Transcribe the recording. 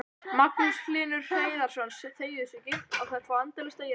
Magnús Hlynur Hreiðarsson: Og þær fá endalaust að éta?